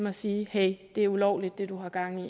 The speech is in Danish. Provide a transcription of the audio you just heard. og sige hey det er ulovligt det du har gang i